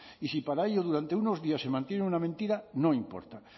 y si para ello durante unos días se mantiene una mentira no importa